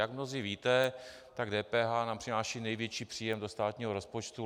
Jak mnozí víte, tak DPH nám přináší největší příjem do státního rozpočtu.